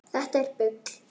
Þetta er bull!